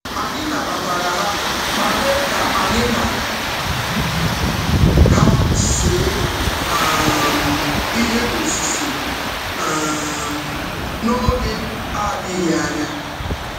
Anyị nabatara ha ma mee ka anyị na ha see um ihe osise um n'oge adịghị anya.